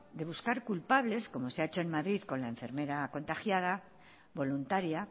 de buscar culpables como se ha hecho en madrid con la enfermera contagiada voluntaria